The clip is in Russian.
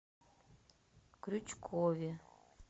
крючкове